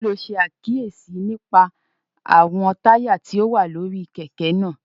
Kí ló ṣe àkíyèsí nípa àwọn táyà tó wà lórí kẹ̀kẹ́ náà?